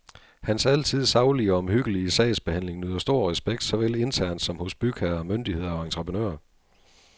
Hans altid saglige og omhyggelige sagsbehandling nyder stor respekt såvel internt som hos bygherrer, myndigheder og entreprenører.